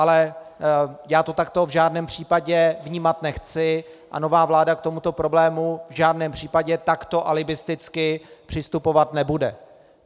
Ale já to takto v žádném případě vnímat nechci a nová vláda k tomuto problému v žádném případě takto alibisticky přistupovat nebude.